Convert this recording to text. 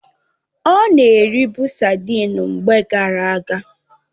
Ọ na eribu sadịn mgbe gara aga